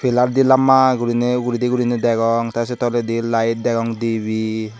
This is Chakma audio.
pilarde lamba gurene ugguredy degong te se tolendi light degong debey.